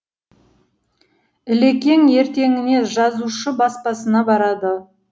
ілекең ертеңіне жазушы баспасына барады